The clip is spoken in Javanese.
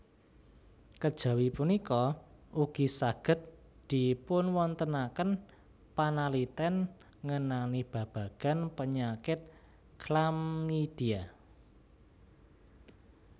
Kejawi punika ugi saged dipunwontenaken panaliten ngenani babagan penyakit chlamydia